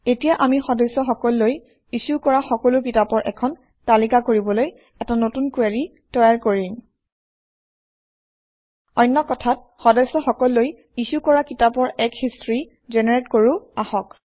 এতিয়া আমি সদস্যসকললৈ ইছ্যু কৰা সকলো কিতাপৰ এখন তালিকা কৰিবলৈ এটা নতুন কুৱেৰি তৈয়াৰ কৰিম অন্য কথাত সদস্য সকললৈ ইছ্যু কৰা কিতাপৰ এক হিষ্ট্ৰী জেনেৰেট কৰোঁ আহক